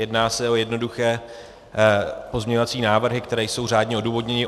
Jedná se o jednoduché pozměňovací návrhy, které jsou řádně odůvodněny.